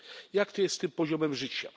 Jak to jest z tym poziomem życia?